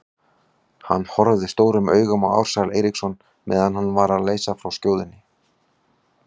Hann horfði stórum augum á Ársæl Eiríksson meðan hann var að leysa frá skjóðunni.